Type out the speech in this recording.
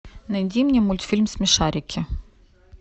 найди мне мультфильм смешарики